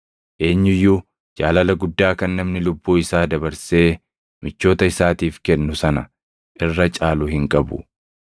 Eenyu iyyuu jaalala guddaa kan namni lubbuu isaa dabarsee michoota isaatiif kennu sana irra caalu hin qabu.